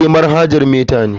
Eh, manhajar meta ne.